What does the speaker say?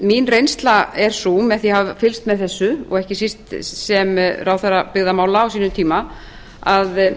mín reynsla er sú eftir að hafa fylgst með þessu og ekki síst sem ráðherra byggðamála á sínum tíma að